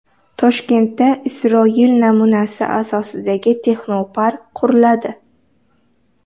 Toshkentda Isroil namunasi asosidagi texnopark quriladi.